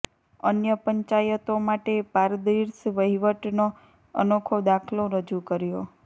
અન્ય પંચાયતો માટે પારર્દિશ વહીવટનો અનોખો દાખલો રજૂ કર્યો